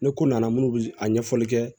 Ni ko nana minnu bɛ a ɲɛfɔli kɛ